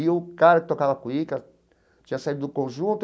E o cara que tocava cuíca tinha saído do conjunto.